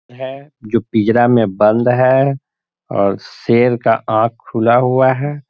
है जो पिंजरा में बंद है। और शेर का आँख खुला हुआ है।